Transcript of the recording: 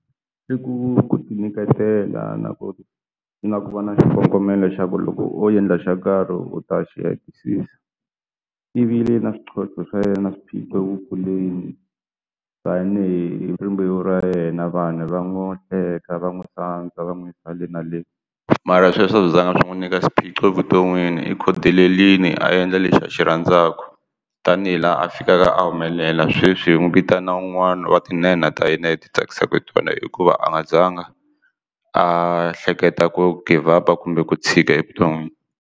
I ku ti nyiketela na ku na ku va na xikongomelo xa ku loko endla xo karhi u ta xi hetisisa i vi le na swintlhontlho swa yena swiphiqo wu kuleni tanihi rimbewu ra yena vanhu va n'wi teka va n'wi sandza va n'wi yisa le na le mara sweswo a swi zanga swi n'wi nyika swiphiqo evuton'wini i khodelelini a endla lexi a xi rhandzaka tanihi laha a fikaka a humelela sweswi hi n'wi vitana un'wana wa tinhenha ta hina leti tsakisaka hi tona hikuva a nga zanga a hleketa ku give up a kumbe ku tshika evuton'wini.